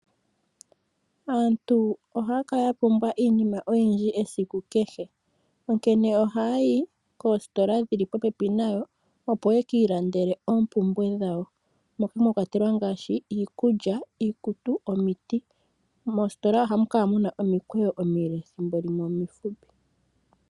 Aantu ohaya kala yapumbwa iinima oyindji esiku kehe. Onkene oha yayi koositola dhili popepi nayo, opo yekii landele oompumbwe dhawo, moka mwakwatelwa ngaashi, iikulya, iikutu, omiti. Moositola ohamu kala muna omikweyo omile, thimbo limwe omifupi.